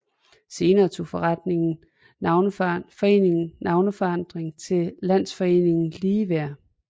Senere tog foreningen navneforandring til Landsforeningen Ligeværd